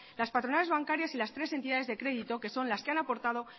las patronales bancarias y las tres entidades de crédito que son las que han aportada